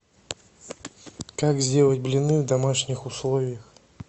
как сделать блины в домашних условиях